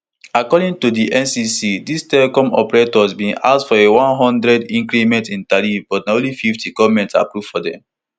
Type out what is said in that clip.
according to di ncc dis telecom operators bin ask for a one hundred increase in tariff but na only fifty goment approve for dem